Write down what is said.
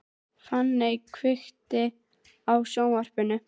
Fanny, kveiktu á sjónvarpinu.